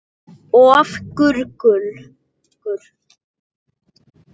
Of ungur.